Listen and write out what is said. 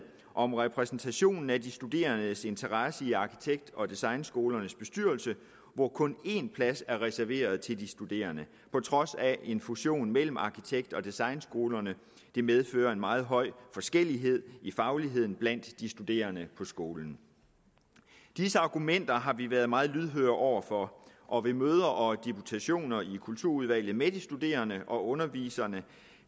om repræsentationen af de studerendes interesser i arkitekt og designskolernes bestyrelse hvor kun én plads er reserveret til de studerende på trods af en fusion mellem arkitekt og designskolerne det medfører en meget høj forskellighed i fagligheden blandt de studerende på skolen disse argumenter har vi været meget lydhøre over for og ved møder og deputationer i kulturudvalget med de studerende og underviserne